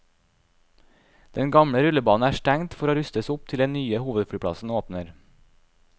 Den gamle rullebanen er stengt for å rustes opp til den nye hovedflyplassen åpner.